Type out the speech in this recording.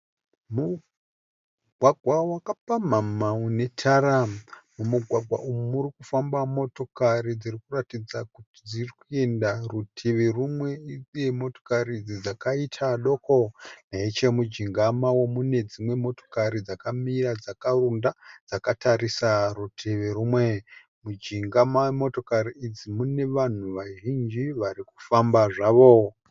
Mugwagwa wakapamhamha unetara, mumugwagwa umu murikufamba motokari dzirikuratidza kuti dzirikuinda rutivi rumwe uye motokari idzi dzakaita doko. Nechemujinga mawo mune dzimwe motokari dzakamira dzakaronda dzakatarisa rutivi rumwe, mujinga memotokari idzi mune vanhu vazhinji varikufamba zvavo.